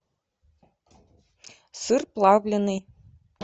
сыр плавленный